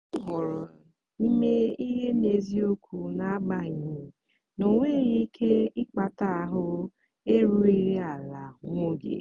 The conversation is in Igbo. m họọrọ ime ihe n'eziokwu n'agbanyeghị na ọ nwere ike ịkpata ahụ erughị ala nwa oge.